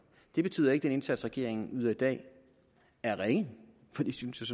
det betyder ikke at den indsats regeringen yder i dag er ringe for det synes jeg